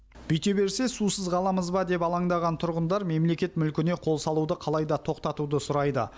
бүйте берсе сусыз қаламыз ба деп алаңдаған тұрғындар мемлекет мүлкіне қол салуды қалай да тоқтатуды сұрайды